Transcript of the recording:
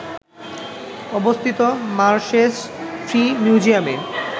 অবস্থিত মার্শেস ফ্রি মিউজিয়ামে